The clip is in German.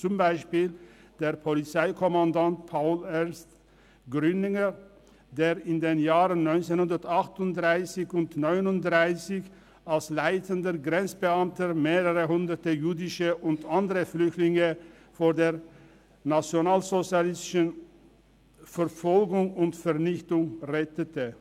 Ein Beispiel ist der Polizeikommandant Paul Ernst Grüninger, der in den Jahren 1938 und 1939 als leitender Grenzbeamter mehrere Hunderte jüdische und andere Flüchtlinge vor der nationalsozialistischen Verfolgung und Vernichtung rettete.